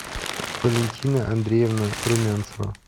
валентина андреевна румянцева